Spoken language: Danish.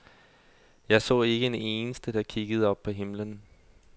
Jeg så ikke en eneste, der kiggede op i himlen.